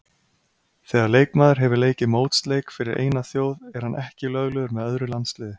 Þegar leikmaður hefur leikið mótsleik fyrir eina þjóð er hann ekki löglegur með öðru landsliði.